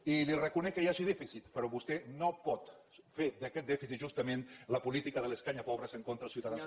i li reconec que hi hagi dèficit però vostè no pot fer d’aquest dèficit justament la política de l’escanyapobres contra els ciutadans